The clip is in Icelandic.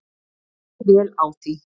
Og fer vel á því.